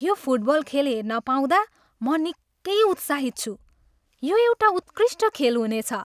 यो फुटबल खेल हेर्न पाउँदा म निकै उत्साहित छु! यो एउटा उत्कृष्ट खेल हुनेछ।